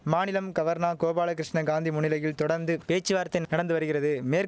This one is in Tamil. மாநிலம் கவர்னா கோபால கிருஷ்ண காந்தி முன்னிலையில் தொடந்து பேச்சுவார்த்தை நடந்து வரிகிறது மேற்